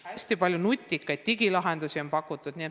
Ja ka hästi palju nutikaid digilahendusi on pakutud.